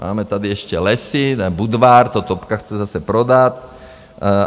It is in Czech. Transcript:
Máme tady ještě lesy, Budvar, to topka chce zase prodat.